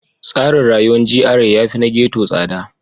Tsarin rayuwar GRA yafi na ghetto tsada.